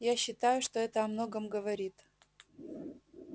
я считаю что это о многом говорит